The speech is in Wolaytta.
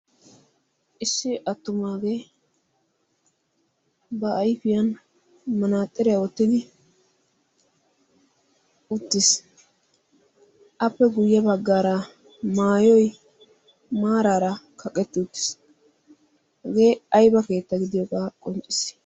issi attumaagee ba aifiyan manaaxxariyaa oottidi uttiis appe guyye baggaara maayoi maaraara kaqetti uttiis hegee aiba keetta gidiyoogaa qoncciis